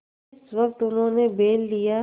जिस वक्त उन्होंने बैल लिया